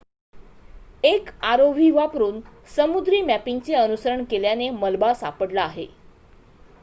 एक rov वापरून समुद्री मॅपिंगचे अनुसरण केल्याने मलबा सापडला आहे